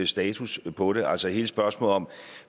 status på det altså hele spørgsmålet om